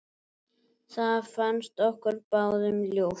Það fannst okkur báðum ljúft.